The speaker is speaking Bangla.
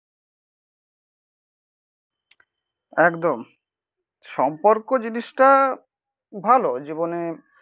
একদম. সম্পর্ক জিনিসটা ভালো জীবনে